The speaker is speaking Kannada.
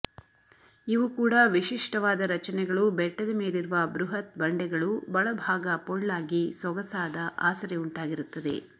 ಇವು ಕೂಡ ವಿಶಿಷ್ಟವಾದ ರಚನೆಗಳು ಬೆಟ್ಟದ ಮೇಲಿರುವ ಬೃಹತ್ ಬಂಡೆಗಳು ಬಳಭಾಗ ಪೊಳ್ಳಾಗಿ ಸೊಗಸಾದ ಆಸರೆ ಉಂಟಾಗಿರುತ್ತದೆ